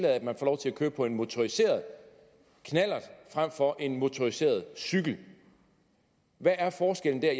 at man får lov til at køre på en motoriseret knallert frem for på en motoriseret cykel hvad er forskellen der